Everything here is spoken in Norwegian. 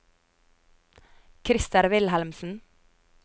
Christer Wilhelmsen